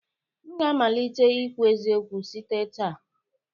M ga-amalite ikwu eziokwu site taa